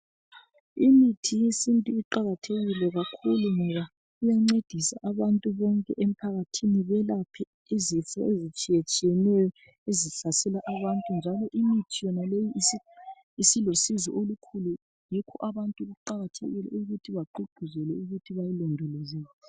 Imithi yesintu iqakathekile kakhulu ngoba iyancedisa abantu bonke emphakathini, belaphe izifo ezitshiyeneyeneyo ezihlasela abantu, njalo imithi yonaleyi isilosizo olukhulu, yikho abantu kuqakathekile ukuthi bagqugquzelwe ukuthi bayilondoloze.